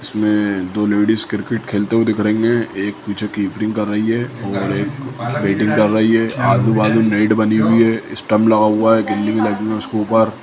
इसमें दो ladies cricket खेलते हुए दिख रही है एक पीछे कीपिंग कर रही है और एक बैटिंग कर रही है आजू-बाजू नेट बनी हुई है स्टांप लगा हुआ है लगी है उसके ऊपर।